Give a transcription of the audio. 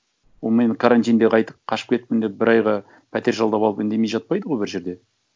ол мені карантинде қайтып қашып кеттім деп бір айға пәтер жалдап алып үндемей жатпайды ғой бір жерде